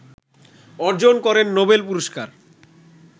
অর্জন করেন নোবেল পুরস্কার